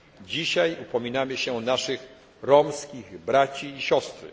Dzisiaj upominamy się o naszych romskich braci i siostry.